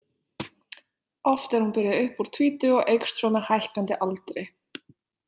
Oft er hún byrjuð upp úr tvítugu og eykst svo með hækkandi aldri.